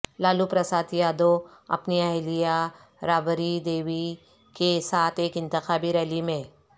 لالو پرساد یادو اپنی اہلیہ رابری دیوی کے ساتھ ایک انتخابی ریلی میں